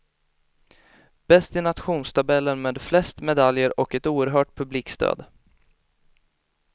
Bäst i nationstabellen med flest medaljer och ett oerhört publikstöd.